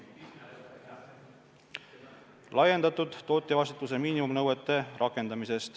Edasi, laiendatud tootjavastutuse miinimumnõuete rakendamine.